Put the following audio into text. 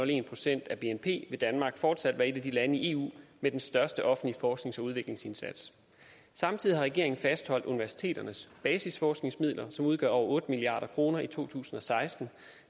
en procent af bnp vil danmark fortsat være et af de lande i eu med den største offentlige forsknings og udviklingsindsats samtidig har regeringen fastholdt universiteternes basisforskningsmidler som udgør over otte milliard kroner i to tusind og seksten